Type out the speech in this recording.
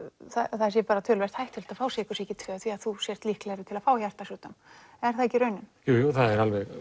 það sé töluvert hættulegt að fá sykursýki tvö þú sért líklegri til að fá hjartasjúkdóm er það ekki raunin jújú það